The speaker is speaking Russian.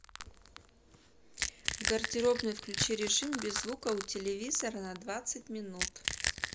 в гардеробной включи режим без звука у телевизора на двадцать минут